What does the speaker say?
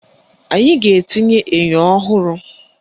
Anyị ga-etinye enyo ọhụrụ